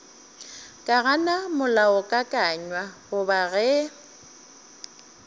ka gana molaokakanywa goba ge